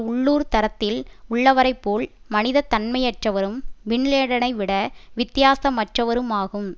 உள்ளூர் தரத்தில் உள்ளவரைப்போல் மனிதத் தன்மையற்றவரும் பின்லேடனை விட வித்தியாசமற்றவருமாகும்